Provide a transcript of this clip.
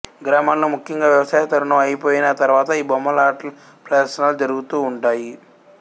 గ్రామాల్లో ముఖ్యంగా వ్యవసాయ తరుణం అయిపోయిన తరువాత ఈ బొమ్మలాటల ప్రదర్శనాలు జరుగుతూ వుంటాయి